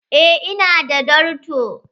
Eh ina da darto.